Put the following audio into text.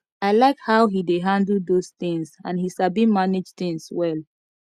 i like how he dey handle those things and he sabi manage things well